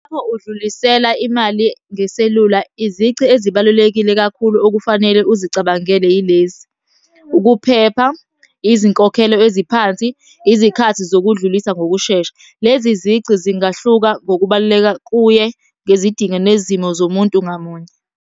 Uma ukudlulisela imali ngeselula, izici ezibalulekile kakhulu okufanele uzicabangele yilezi. Ukuphepha, izinkokhelo eziphansi, izikhathi zokudlulisa ngokushesha. Lezi zici zingahluka ngokubaluleka kuye ngezidingo nezimo zomuntu ngamunye.